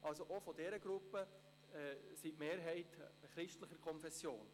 Also auch in dieser Gruppe ist die Mehrheit christlicher Konfession.